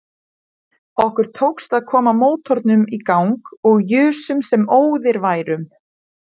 Okkur tókst að koma mótornum í gang og jusum sem óðir værum.